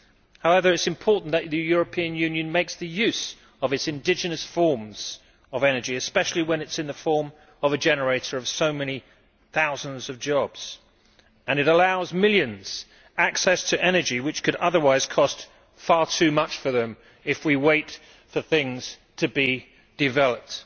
However, it is important that the European Union makes use of its indigenous forms of energy, especially when it is in the form of a generator of so many thousands of jobs and allows millions access to energy which could otherwise cost far too much for them if we wait for things to be developed.